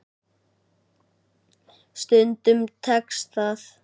Stundum tekst það.